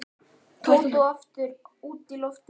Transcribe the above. Tóta og aftur út í loftið.